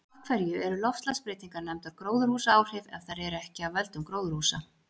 Af hverju eru loftslagsbreytingar nefndar gróðurhúsaáhrif ef þær eru ekki af völdum gróðurhúsa?